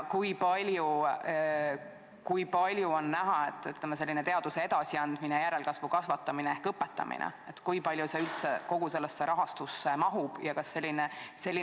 Kui palju on näha, et selline teaduse edasiandmine, järelkasvu kasvatamine ehk õpetamine üldse kogu sellesse rahastusse mahub?